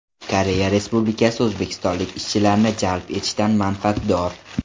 Koreya Respublikasi o‘zbekistonlik ishchilarni jalb etishdan manfaatdor.